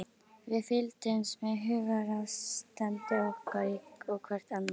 Við fylgdumst með hugarástandi okkar og hvert annars.